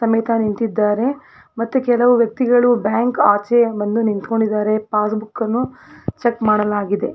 ತಮಿಕಾ ನಿಂತಿದ್ದಾರೆ ಮತ್ತೆ ಕೆಲವು ವ್ಯಕ್ತಿಗಳು ಬ್ಯಾಂಕ್ ಆಚೆ ಬಂದು ನಿಂತ್ಕೊಂಡಿದ್ದಾರೆ ಪಾಸ್ ಬುಕ್ ಅನ್ನು ಚೆಕ್ ಮಾಡಲಾಗಿದೆ .